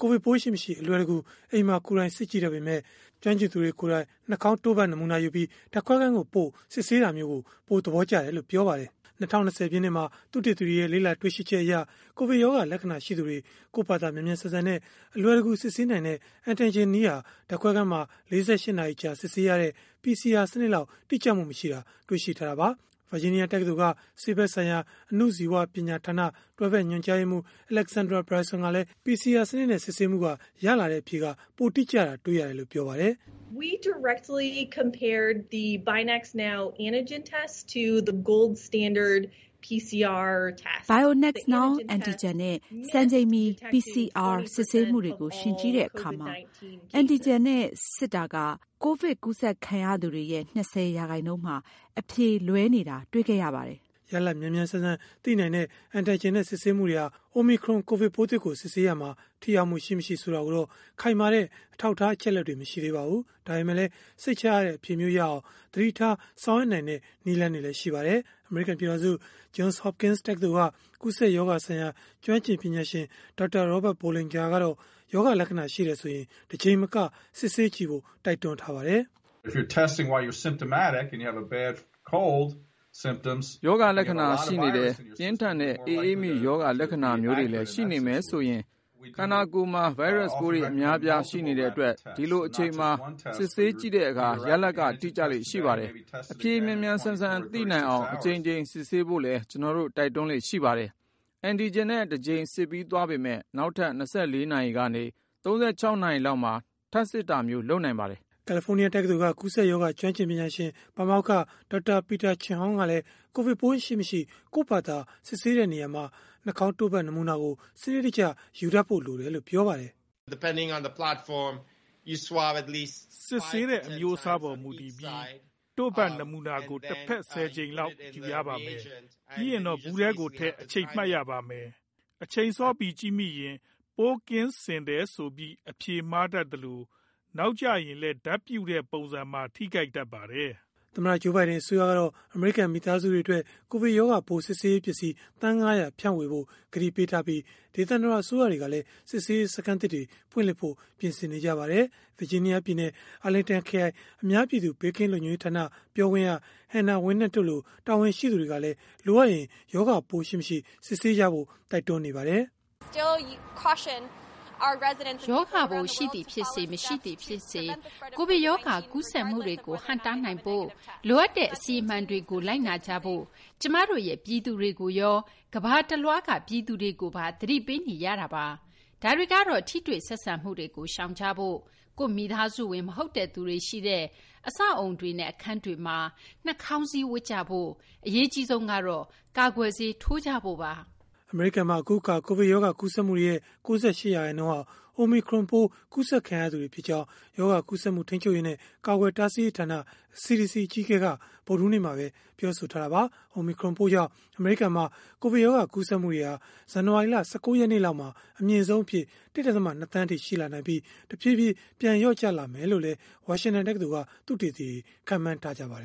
ကိုဗစ်ပိုးရှိမရှိ အလွယ်တကူ အိမ်မှာပဲ ကိုယ်တိုင်စစ်ကြည့်တတ်ပေမဲ့၊ ကျွမ်းကျင်သူတွေကိုယ်တိုင် နှာခေါင်းတို့ဖတ် နမူနာယူပြီး ဓာတ်ခွဲခန်းကိုပို့ စစ်ဆေးတာမျိုးကို ပိုသဘောကျတယ်လို့ ပြောပါတယ်။ “လုပ်ရတာ တော်တော်လေး လွယ်ပါတယ်။ ဒါပေမဲ့လည်း အဖြေကိုတော့ သိပ်အားမရပါဘူး။” ၂၀၂၀ ပြည့်နှစ်မှာ သုတေသီတွေရဲ့ လေ့လာတွေ့ရှိချက်အရ ကိုဗစ်ရောဂါ လက္ခဏာရှိသူတွေ ကိုယ့်ဖာသာ မြန်မြန်ဆန်ဆန်နဲ့ အလွယ်တကူ စစ်ဆေးနိုင်တဲ့ antigen နည်းဟာ၊ ဓာတ်ခွဲခန်းမှာ ၄၈ နာရီကြာ စစ်ဆေးရတဲ့ PCR စနစ်လောက် တိကျမှု မရှိတာ တွေ့ရှိထားတာပါ။ ဗာဂျီးနီးယား တက္ကသိုလ်က ဆေးဖက်ဆိုင်ရာ အဏုဇီဝပညာဌာန တွဲဖက်ညွှန်ကြားရေးမှူး Alexandra Bryson ကလည်း PCR စနစ်နဲ့ စစ်ဆေးမှုက ရရှိတဲ့ အဖြေကပိုမို တိကျတာ တွေ့ရတယ်လို့ ပြောပါတယ်။ “BionaxNOW antigen နဲ့ စံချိန်မီ PCR စစ်ဆေးမှုတွေကို ယှဉ်ကြည့်တဲ့အခါ antigen နဲ့ စစ်တာက ကိုဗစ်ကူးစက်ခံရသူတွေရဲ့ ၂၀ ရာခိုင်နှုန်းမှာ အဖြေလွဲနေတာ တွေ့ခဲ့ရပါတယ်။” ရလဒ်မြန်မြန်ဆန်ဆန်သိနိုင်တဲ့ antigen နဲ့ စစ်ဆေးမှုတွေဟာ Omicron ကိုဗစ်ပိုးသစ်ကို စစ်ဆေးရာမှာ ထိရောက်မှု ရှိ၊ မရှိ ဆိုတာကိုတော့ ခိုင်မာတဲ့ အထောက်အထား အချက်အလက် မရှိသေးပါဘူး။ ဒါပေမဲ့လည်း စိတ်ချရတဲ့ အဖြေမျိုးရနိုင်အောင် သတိထား ဆောင်ရွက်နိုင်တဲ့ နည်းလမ်းတွေလည်း ရှိပါတယ်။ အမေရိကန် ပြည်ထောင်စု Johns Hopkins တက္ကသိုလ်က ကူးစက်ရောဂါဆိုင်ရာ ကျွမ်းကျင်ပညာရှင် Dr. Robert Bollinger ကတော့ ရောဂါလက္ခဏာ ရှိတယ်ဆိုရင် တကြိမ်မက စစ်ဆေးကြည့်ဖို့ တိုက်တွန်းပါတယ်။ “ရောဂါလက္ခဏာရှိနေတယ်၊ ပြင်းထန်တဲ့ အအေးမိရောဂါလက္ခဏာမျိုးတွေလည်း ရှိနေမယ်ဆိုရင်၊ ခန္ဓာကိုယ်မှာ ဗိုင်းရပ်စ်ပိုးတွေ အများအပြား ရှိနေတဲ့အတွက် ဒီလိုအချိန်မှာ စစ်ဆေးကြည့်တဲ့အခါ ရလဒ်က တိကျလေ့ရှိပါတယ်။ အဖြေမြန်မြန်ဆန်ဆန် သိနိုင်အောင် အကြိမ်ကြိမ် စစ်ဆေးဖို့လည်း ကျနော်တို့ တိုက်တွန်းလေ့ ရှိပါတယ်။ antigen နဲ့ တကြိမ်စစ်ပြီးသွားပေမဲ့ နောက်ထပ် ၂၄ နာရီကနေ ၃၆ နာရီလောက်မှာ ထပ်စစ်တာမျိုး လုပ်နိုင်ပါတယ်။” ကယ်လီဖိုးနီးယားတက္ကသိုလ်က ကူးစက်ရောဂါ ကျွမ်းကျင်ပညာရှင် ပါမောက္ခ Dr. Peter Chin-Hong ကလည်း ကိုဗစ်ပိုး ရှိမရှိ ကိုယ့်ဖာသာ စစ်ဆေးရာမှာ နှာခေါင်းတို့ဖတ် နမူနာကို စနစ်တကျယူဖို့ လိုတယ်လို့ ပြောပါတယ်။ “စစ်ဆေးတဲ့အမျိုးအစားအပေါ် မူတည်ပြီး၊ တို့ဖတ်နမူနာကို တဖက် ၁၀ ကြိမ်လောက် ယူရပါမယ်။ ပြီးရင်တော့ ဗူးထဲကိုထည့်၊ အချိန်မှတ်ရမှာပါ။ အချိန်စောပြီး ကြည့်မိရင်၊ ပိုးကင်းစင်တယ်ဆိုပြီး အဖြေမှားတတ်သလို၊ နောက်ကျရင်လည်း ဓာတ်ပြုတဲ့ ပုံစံမှာ ထိခိုက်တတ်ပါတယ်။” သမ္မတ Joe Biden အစိုးရကတော့ အမေရိကန် မိသားစုတွေအတွက် ကိုဗစ်ရောဂါပိုး စစ်ဆေးရေးပစ္စည်း သန်း ၅၀၀ ဖြန့်ဝေဖို့ ကတိပေးထားပြီး၊ ဒေသန္တရ အစိုးရတွေကလည်း စစ်ဆေးရေးစခန်းသစ်တွေ ဖွင့်လှစ်ဖို့ ပြင်ဆင်နေပါတယ်။ ဗာဂျီးနီးယားပြည်နယ် အာလင်တန်ခရိုင် အများပြည်သူ ဘေးကင်းလုံခြုံရေးဌာန ပြောခွင့်ရ Hannah Winant တို့လို တာဝန်ရှိသူတွေကလည်း လိုအပ်ရင် ရောဂါပိုး ရှိ၊ မရှိ စစ်ဆေးကြဖို့ တိုက်တွန်းနေကြတာပါ။ “ရောဂါပိုးရှိသည်ဖြစ်စေ၊ မရှိသည်ဖြစ်စေ၊ ကိုဗစ်ရောဂါ ကူးစက်မှုတွေကို ဟန့်တားနိုင်ဖို့ လိုအပ်တဲ့ အစီအမံတွေကို လိုက်နာကြဖို့ ကျမတို့ရဲ့ ပြည်သူတွေကိုရော ကမ္ဘာတလွှားက ပြည်သူတွေကိုပါ သတိပေးနေရတာပါ။ ဒါတွေကတော့ ထိတွေ့ဆက်ဆံမှုတွေကို ရှောင်ကြဖို့၊ ကိုယ့်မိသားစုဝင် မဟုတ်တဲ့ သူတွေရှိတဲ့ အဆောက်အဦးတွေနဲ့ အခန်းတွေမှာ နှာခေါင်းစည်း ဝတ်ကြဖို့၊ အရေးအကြီးဆုံးကတော့ ကာကွယ်ဆေး ထိုးကြဖို့ပါ။” အမေရိကန်မှာ အခုအခါ ကိုဗစ်ရောဂါ ကူးစက်မှုတွေရဲ့ ၉၈ ရာခိုင်နှုန်းဟာ Omicron ပိုးကူးစက်ခံရသူတွေဖြစ်ကြောင်း ရောဂါကူးစက်မှု ထိန်းချုပ်ရေးနဲ့ ကာကွယ်တားဆီးရေးဌာန (CDC) အကြီးအကဲက ဗုဒ္ဓဟူးနေ့မှာပဲ ပြောဆိုခဲ့တာပါ။ Omicron ပိုးကြောင့် အမေရိကန်မှာ ကိုဗစ်ရောဂါ ကူးစက်မှုတွေဟာ ဇန်နဝါရီလ ၁၉ ရက်နေ့လောက်မှာ အမြင့်ဆုံးအဖြစ် ၁.၂ သန်းအထိ ရှိလာနိုင်ပြီး၊ တဖြည်းဖြည်း ပြန်လျော့ကျလာမယ်လို့လည်း ဝါရှန်တန်တက္ကသိုလ်က သုတေသီတွေ ခန့်မှန်းထားကြပါတယ်